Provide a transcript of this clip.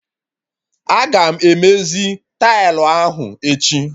Aga m emezi tailụ ahụ echi